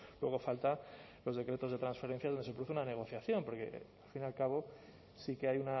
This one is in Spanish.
luego faltan los decretos de transferencia donde se produce una negociación porque al fin y al cabo sí que hay